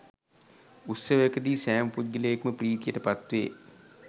උත්සවයකදී සෑම පුද්ගලයෙක්ම ප්‍රීතියට පත්වේ